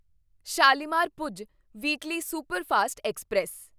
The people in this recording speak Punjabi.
Shalimar Bhuj weekly superfast express